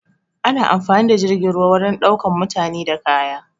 Ana amfani da jirgin ruwa wurin ɗaukan mutane da kaya